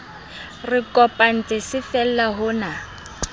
re kopantse se fella hona